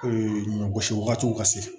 ɲɔ gosi wagatiw ka se